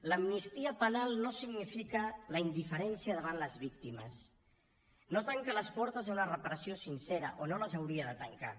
l’amnistia penal no significa la indiferència davant les víctimes no tanca les portes a una reparació sincera o no les hauria de tancar